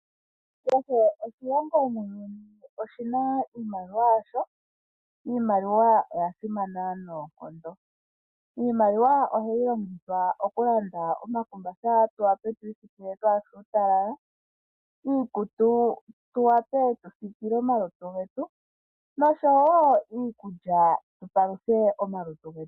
Kehe oshilongo muuyuni oshina iimaliwa yasho, iimaliwa oya simana noonkondo. Iimaliwa ohayi longithwa okulanda omakumbatha tu wa pe tu i siikile twaase uutalala, iikutu tu wape tu siikile omalutu getu nosho wo iikulya tu paluthe omalutu getu.